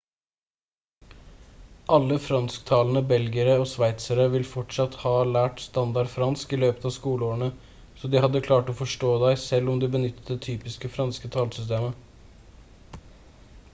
alle fransktalende belgiere og sveitsere ville fortsatt ha lært standard fransk i løpet av skoleårene så de hadde klart å forstå deg selv om du benyttet det typiske franske tallsystemet